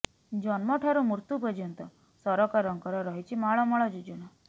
ଜନ୍ମ ଠାରୁ ମୃତ୍ୟୁ ପର୍ଯ୍ୟନ୍ତ ସରକାର ଙ୍କର ରହିଛି ମାଳ ମାଳ ଯୋଜନା